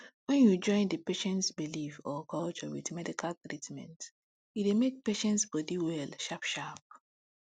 wen you join d patients belief or culture with medical treatment e dey make patients body well sharp sharp